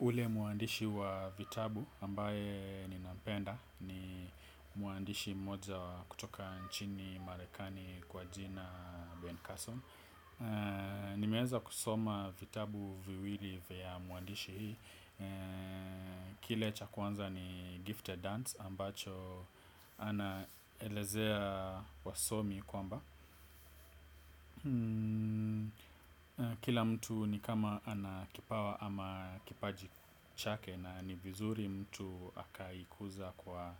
Ule muandishi wa vitabu ambaye ninampenda ni muandishi mmoja kutoka nchini marekani kwa jina Ben Carson. Nimeeza kusoma vitabu viwili vya muandishi hii. Kile cha kwanza ni gifted hands ambacho anaelezea wasomi kwamba. Kila mtu ni kama ana kipawa ama kipaji chake na ni vizuri mtu akaikuza kwa